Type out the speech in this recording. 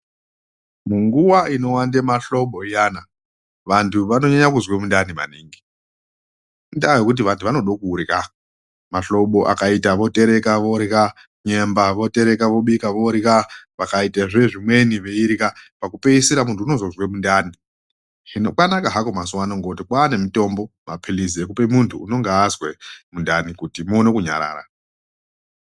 Munguwa inowanda mahlobo iyana vantu vanonyanya kuzwa mundani maningi. Indaa yekuti vantu vanoda kudyra. Mahlobo akaita votereka, vodyra. Nyemba votereka vobika, vodyra. Pakaita zve zvimweni veidyra. Pakupeisira muntu unozozwa mundani. Hino kwanaka hako mazuwa ano kuti kwaane mitombo, mapilizi ekupa muntu unenge azwa mundani kuti muone kunyarara.